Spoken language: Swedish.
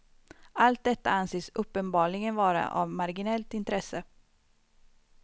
Allt detta anses uppenbarligen vara av marginellt intresse.